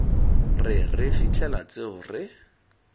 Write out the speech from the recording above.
re re fitlhela tseo re